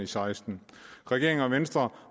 seksten regeringen venstre